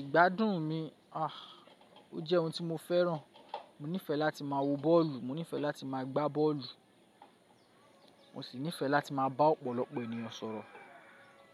Ìgbádùn mi, à, ó jẹ́ ohun tí mo fẹ́ràn. Mo nífẹẹ láti máa wo bọ́ọ̀lù, mo nífẹẹ láti máa gbá bọ́ọ̀lù, mo sì nífẹẹ láti máa bá ọ̀pọ̀lọpọ̀ ènìyàn sọ̀rọ̀,